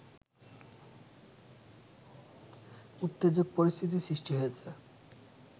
উত্তেজক পরিস্থিতি সৃষ্টি হয়েছে